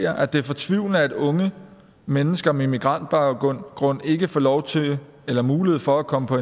at det er fortvivlende at unge mennesker med migrantbaggrund ikke får lov til eller mulighed for at komme på